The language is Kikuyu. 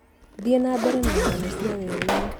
thiĩ na mbere na ng'ano cia weru-inĩ